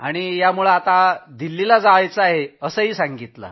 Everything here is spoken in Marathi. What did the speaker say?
आपल्याला दिल्लीला जायचं आहे असंही सांगितलं